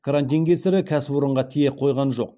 карантин кесірі кәсіпорынға тие қойған жоқ